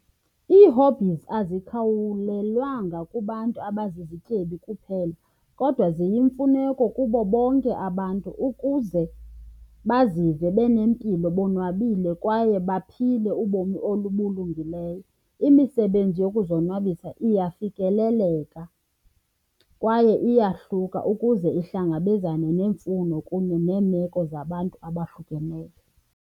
Ii-hobbies azikhawulelwanga kubantu abazizityebi kuphela kodwa ziyimfuneko kubo bonke abantu ukuze bazive benempilo, bonwabile kwaye baphinde ubomi obulungileyo. Imisebenzi yokuzonwabisa iyafikeleleka kwaye iyahluka ukuze ihlangabezane neemfuno kunye neemeko zabantu abahlukeneyo.